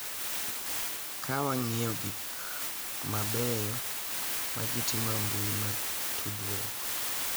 Ka wang’iyo gik mabeyo ma ji timo e mbui mag tudruok,